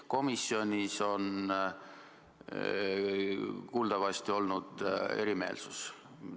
Komisjonis on kuuldavasti olnud erimeelsus.